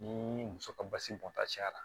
Ni muso ka basi bɔnta cɛyara